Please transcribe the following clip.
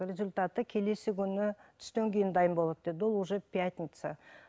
результаты келесі күні түстен кейін дайын болады деді ол уже пятница